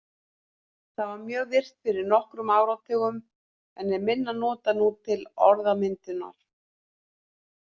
Það var mjög virkt fyrir nokkrum áratugum en er minna notað nú til orðmyndunar.